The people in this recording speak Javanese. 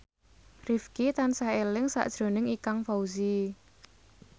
Rifqi tansah eling sakjroning Ikang Fawzi